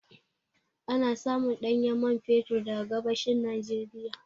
Ana samun ɗanyen man fetur daga gabashin Nijeriya